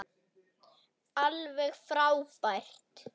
Alveg frábær.